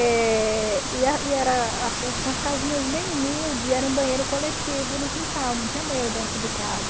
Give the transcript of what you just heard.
Eh... e era casinhas bem humildes, e era um banheiro coletivo no quintal, não tinha banheiro dentro de casa.